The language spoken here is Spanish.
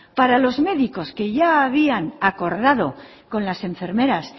para los médicos que ya habían acordado con las enfermeras